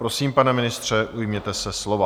Prosím, pane ministře, ujměte se slova.